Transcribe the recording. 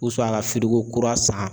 ka kura san